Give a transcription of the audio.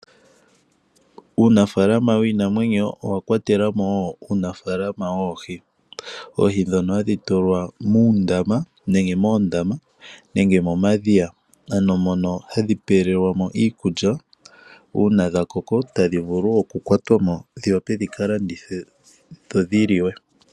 Uunafalama wiinamwenyo owa kwatelamo woo uunafalama woohi. Oohi dhono hadhi tulwa muundama, nemge moondama, nenge momadhiya, ano mono hadhi pewelwamo iikulya, una dha koko tadhi vulu oku kwatwamo, dhi wape dhika landithwe, dho dhi liwe.